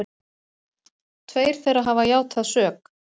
Tveir þeirra hafa játað sök